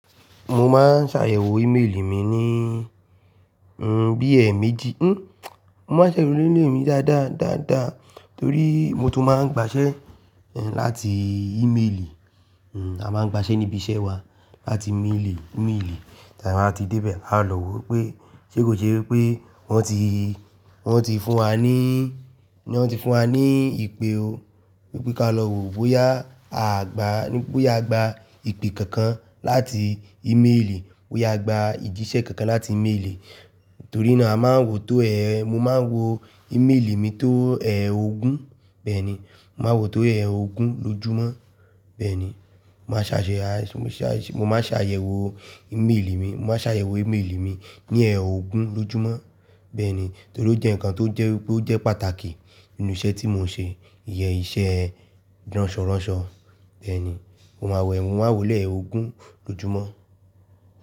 Mọ máa ń ṣàyẹ̀wò ímeèlì mi níi, bi eméjì. Hmm, mo máa ń ṣàyẹ̀wò ímeèlì mi dáadáa, dáadáa torí mo tún máa ń gba iṣẹ́ láti ímeèlì. A máa ń gba iṣẹ́ níbi iṣẹ́ wa láti imeèlì, imeelì. Tàbí tí bá dé ibẹ̀, a lọ́ wò pé ṣé kò ṣe wípé wọ́n ti, wọ́n ti fún wa ní, wọ́n ti fún wa ní ìpè o, wípé kí á lọ wò bóyá a gbà, bóyá a gba ìpè kankan láti ímeèlì, bóyá a gbà ìjísẹ́ kankan láti ímeèlì. Torí náà a máa ń wò tó, ẹ̀, mọ máa ń wo ímeèlì mi tó ẹ̀ẹ̀ ogún, bẹ́ẹ̀ni. Mọ máa ń wò tó ẹ̀ẹ̀ ogún lójúmọ́. Bẹ́ẹ̀ ni mo máà ṣe ayẹwò ímeèlì mi, mo máa ṣe ayẹ̀wò ímeèlì mi ní ẹ̀ oogún lójúmọ́. Bẹ́ẹ̀ ni. Torí ó jẹ́ ǹkan tó jẹ́ wípé ó jẹ́ pàtàkì nínú iṣẹ́ tí mò ń ṣe. Iye iṣẹ́ ránṣọránṣọ. Bẹ́ẹ̀ ni. Mo máa wò ẹ́, mo máa wò ó lẹ́ ẹ̀ẹ̀ oogún lójúmọ́.